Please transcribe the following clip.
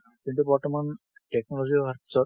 কিন্তু বৰ্তমান technology অহাৰ পিছত,